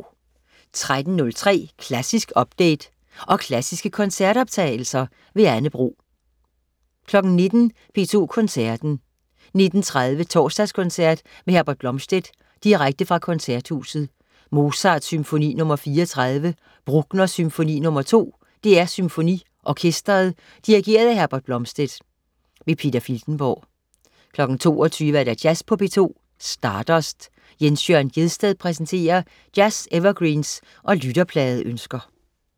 13.03 Klassisk update. Og klassiske koncertoptagelser. Anne Bro 19.00 P2 Koncerten. 19.30 Torsdagskoncert med Herbert Blomstedt, direkte fra Koncerthuset. Mozart: Symfoni nr. 34. Bruckner: Symfoni nr. 2. DR SymfoniOrkestret. Dirigent: Herbert Blomstedt. Peter Filtenborg 22.00 Jazz på P2. Stardust. Jens Jørn Gjedsted præsenterer jazz-evergreens og lytterpladeønsker